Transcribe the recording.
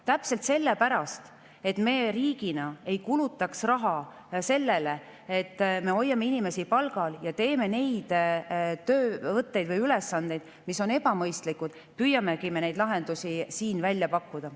Täpselt sellepärast, et me riigina ei kulutaks raha sellele, et me hoiame inimesi palgal ja neid töövõtteid või ülesandeid, mis on ebamõistlikud, püüamegi me neid lahendusi siin välja pakkuda.